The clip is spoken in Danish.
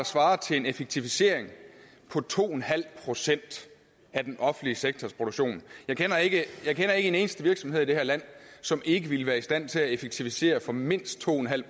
svarer til en effektivisering på to en halv procent af den offentlige sektors produktion jeg kender ikke en eneste virksomhed i det her land som ikke ville være i stand til at effektivisere for mindst to en halv